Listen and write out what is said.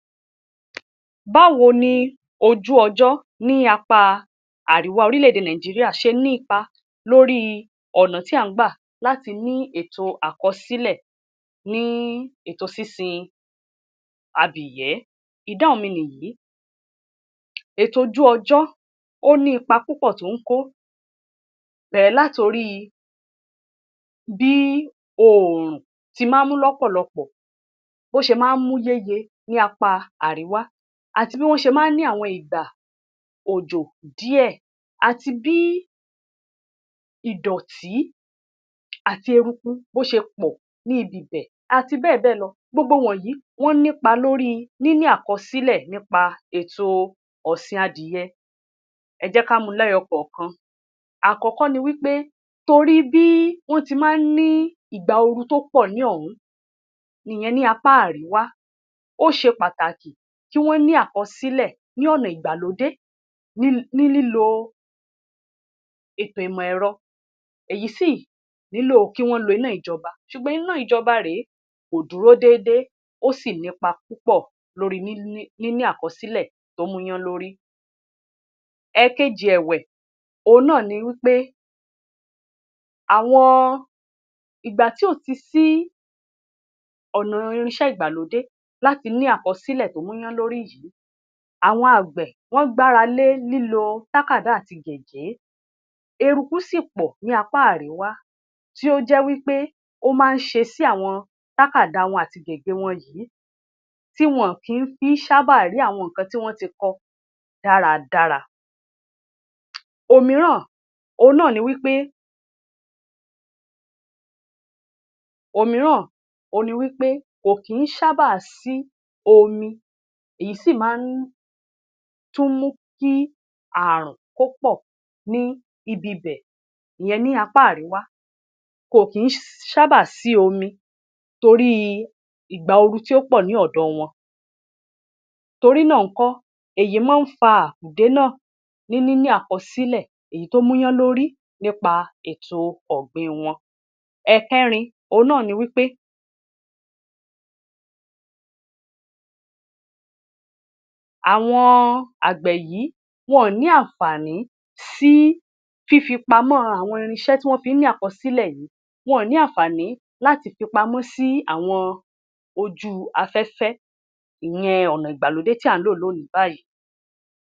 Báwo ni ojú ọjọ́ ní apá àríwá orílẹ̀-èdè Nàìjíríà ṣe ní ipa lóríi ọ̀nà tí à ń gbà láti ní ètò àkọsílẹ̀ ní ètò sísin abìyẹ́? Ìdáhùn mi nìyìí. Ètò ojú-ọjọ́ ó ní ipa púpọ̀ tó ń kó, bẹ̀rẹ̀ látoríi bí oòrùn tí máa ń mú lọ́pọ̀lọpọ̀, bó ṣe máa ń mú yéye ní apáa àrìwá, àti bí wọ́n ṣe máa ń ní àwọn ìgbà òjò díẹ̀, àti bí ìdọ̀tí àti eruku bó ṣe pọ̀ ńi ibi ibẹ̀, àti bẹ́ẹ̀bẹ́ẹ̀ lọ. Gbogbo ìwọ̀nyìí, wọ́n nípa lóríi níní àkọsílẹ̀ nípa èto ọ̀sìn adìyẹ. Ẹ jẹ́ ká mú u lẹ́yọkọ̀ọ̀kan. Àkọ́kọ́ ni wí pé torí bí wọ́n ti máa ń ní ìgbà ooru tó pọ̀ ní ọ̀hún, ìyẹn ní apá àríwá, ó ṣe pàtàkì kí wọ́n ní àkọsílẹ̀ ní ọ̀nà ìgbalódé ní lílo ètò ìmọ̀ ẹ̀rọ, èyí sì nílò kí wọ́n lo iná ìjọba. Ṣùgbọ́n iná ìjọba rèé, kò dúró déédé, ó sì nípa púpọ̀ lóríi níní àkọsílẹ̀ tó múyánlórí. Ẹ̀ẹ̀kejì ẹ̀wẹ̀, òhun náà ni wí pé àwọn, ìgbà tí ò ti sí ọ̀nà irinṣẹ́ ìgbàlódé láti ní àkọsílẹ̀ tó múyánlórí yìí, àwọn àgbẹ̀ wọ́n gbára lé lílo tákàdá àti gégé, eruku sì pọ̀ ní apá àriwá tí ó jẹ́ wí pé ó máa ń ṣe sí àwọn tákàdá wọn àti gègé wọn yìí, tí wọn kí fi ń ṣábàá rí àwọn nǹkan tí wọ́n ti kọ dáradára. Òmìíràn òhun náà ni wí pé, òmíràn òhun ni wí pé kò kí ń ṣábàá sí omi, èyí sí máa ń tún mú kí ààrùn kó pọ̀ ní ibi ibẹ̀, ìyẹn ní apá àríwá. Kò kí ń ṣábàá sí omi toríi ìgbà ooru tí ó pọ̀ ní ọ̀dọ̀ wọn. Torí náà ńkọ́, èyí mọ́n ń fa àkùdé náà ní níní àkọsílẹ̀ èyí tó múyánlórí nípa ètò ọ̀gbìn wọn. Ẹ̀ẹ̀kẹrin òhun náà ni wí pé àwọn àgbẹ̀ yìí, wọn ò ní ànfààní sí fífipamọ́ àwọn irinṣẹ́ tí wọ́n fi ń ní àkọsílẹ̀ yìí, wọn ò ní ànfààní láti fi pamọ́ sí awọn ojú afẹ́fẹ́, ìyẹn, ọ̀nà ìgbàlódé tí à ń lò lónìí báyìí.